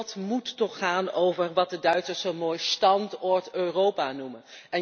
Dit debat moet toch gaan over wat de Duitsers zo mooi Standort Europa noemen.